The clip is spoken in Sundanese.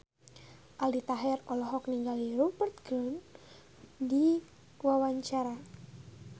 Aldi Taher olohok ningali Rupert Grin keur diwawancara